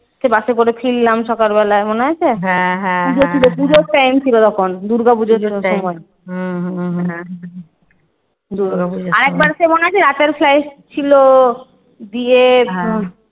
বাসে করে ফিরলাম সকাল বেলায়, মনে আছে? পুজো ছিলো পুজোর time ছিলো তখন দুর্গাপুজোর জন্য আরেকবার সেই মনে আছে? রাতের flight ছিল বিয়ের